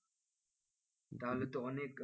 তাহলে তো অনেক,